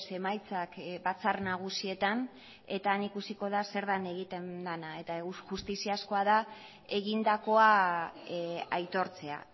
emaitzak batzar nagusietan eta han ikusiko da zer den egiten dena eta justiziazkoa da egindakoa aitortzea